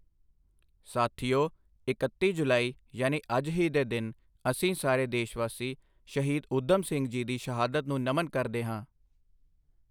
ਸਾਥੀਓ, ਇਕੱਤੀ ਜੁਲਾਈ ਯਾਨੀ ਅੱਜ ਹੀ ਦੇ ਦਿਨ ਅਸੀਂ ਸਾਰੇ ਦੇਸ਼ਵਾਸੀ ਸ਼ਹੀਦ ਊਧਮ ਸਿੰਘ ਜੀ ਦੀ ਸ਼ਹਾਦਤ ਨੂੰ ਨਮਨ ਕਰਦੇ ਹਾਂ।